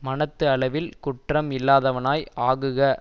மனத்து அளவில் குற்றம் இல்லாதவனாய் ஆகுக